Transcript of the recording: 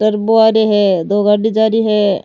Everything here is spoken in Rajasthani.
टर्बो आ रे है दो गाड़ी जा री है।